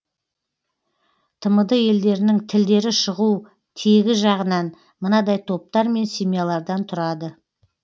тмд елдерінің тілдері шығу тегі жағынан мынадай топтар мен семьялардан тұрады